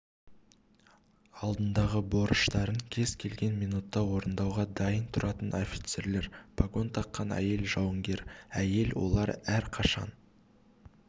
алдындағы борыштарын кез-келген минутта орындауға дайын тұратын офицерлер погон таққан әйел жауынгер әйел олар әрқашан